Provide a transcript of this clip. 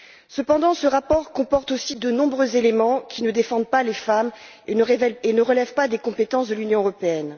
Cependant, ce rapport comporte aussi de nombreux éléments qui ne défendent pas les femmes et ne relèvent pas des compétences de l'Union européenne.